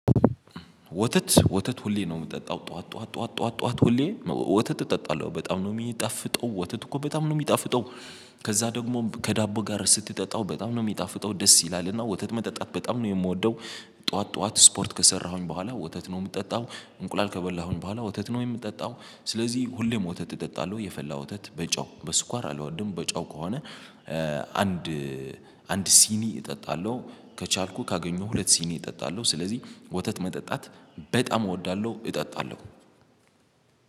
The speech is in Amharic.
ወተት ወተት ሁሌ ነው የምጠጣው ጠዋት ጠዋት ጠዋት ጠዋት ሁሌ ወተት እጠጣለሁ በጣም ነው የሚጣፍጠው ወተት እኮ በጣም ነው የሚጣፍጠው። ከዛ ደግሞ ከዳቦ ጋር ስትጠጣው በጣም ነው የሚጣፍጠው ደስ ይላልና ወተት መጠጣት በጣም ነው የምወደው። ጠዋት ጠዋት ስፖርት ከሰራሁኝ በኋላ ወተት ነው የምጠጣው እንቁላል ከበላሁኝ በኋላ ወተት ነው የምጠጣው። ስለዚህ ሁሌም ወተት እጠጣለሁ የፈላ ወተት በጨው በስኳር አልወድም በጨው ከሆነ። አንድ ሲኒ እጠጣለሁ። ከቻልኩ ካገኘሁ ሁለት ሲኒ እጠጣለሁ። ስለዚህ ወተት መጠጣት በጣም እወዳለሁ እጠጣለሁ።